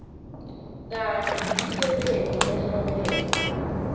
kanye nemisebenti lehlobene